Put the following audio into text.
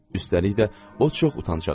Üstəlik də o çox utancaq idi.